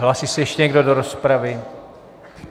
Hlásí se ještě někdo do rozpravy?